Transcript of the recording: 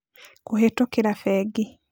Kũhĩtũkĩra Bengi: